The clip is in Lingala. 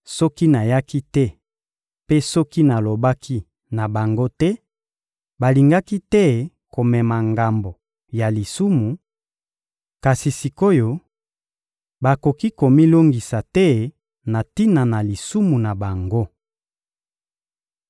Soki nayaki te mpe soki nalobaki na bango te, balingaki te komema ngambo ya lisumu; kasi sik’oyo, bakoki komilongisa te na tina na lisumu na bango.